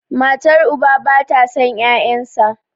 matar uba ba ta son 'ya'yansa